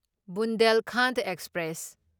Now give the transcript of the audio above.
Bundelkhand express